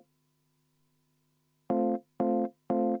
Teeme nii.